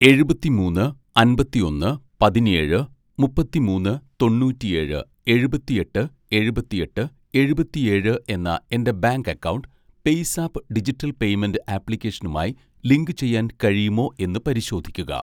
എഴുപത്തിമൂന്ന്‌ അൻപത്തിയൊന്ന് പതിനേഴ് മുപ്പത്തിമൂന്ന്‌ തൊണൂറ്റിയേഴ് എഴുപത്തിയെട്ട് എൺപത്തിയെട്ട്‌ എഴുപത്തിയേഴ്‌ എന്ന എൻ്റെ bank account PayZapp digital payment ആപ്ലിക്കേഷനുമായി ലിങ്കുചെയ്യാൻ കഴിയുമോ എന്ന് പരിശോധിക്കുക